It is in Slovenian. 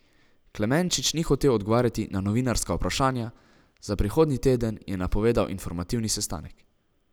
Klemenčič ni hotel odgovarjati na novinarska vprašanja, za prihodnji teden je napovedal informativni sestanek.